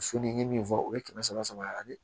Su ni min fɔ o ye kɛmɛ saba ani